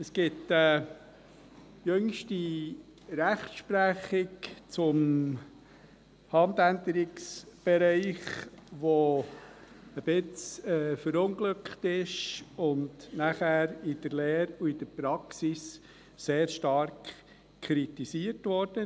Es gibt eine jüngste Rechtsprechung zum Handänderungsbereich, die ein wenig verunglückt ist und nachher in der Lehre und in der Praxis sehr stark kritisiert wurde.